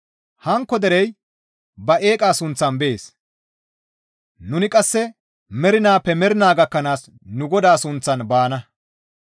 Hankko derey ba eeqa sunththan bees; nuni qasse mernaappe mernaa gakkanaas nu GODAA sunththan baana.